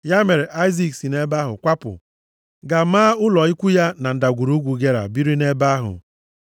Ya mere Aịzik si nʼebe ahụ kwapụ, gaa maa ụlọ ikwu ya na Ndagwurugwu Gera, biri nʼebe ahụ.